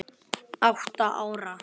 Átta ára.